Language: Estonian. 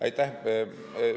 Aitäh!